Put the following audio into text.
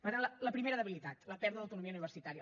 per tant la primera debilitat la pèrdua d’autonomia universitària